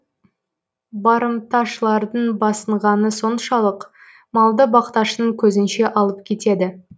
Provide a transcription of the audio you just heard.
барымташылардың басынғаны соншалық малды бақташының көзінше алып кетеді